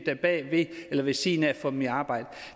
der bagved eller ved siden af får dem i arbejde